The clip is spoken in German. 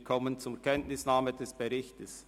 Wir kommen zur Kenntnisnahme des Berichts.